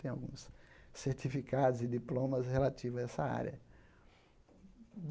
Tenho alguns certificados e diplomas relativos a essa área.